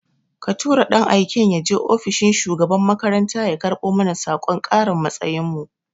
Ka tura ɗan aiken yaje ofishin shugaban makarantar ya karbo mana sakon karin matsayin mu